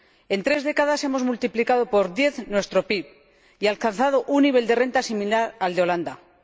En tres décadas, hemos multiplicado por diez nuestro PIB y alcanzado un nivel de rentas similar al de los Países Bajos.